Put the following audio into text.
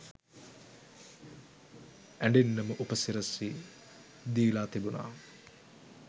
ඇඬෙන්නම උපසිරසි දීලා තිබුණා.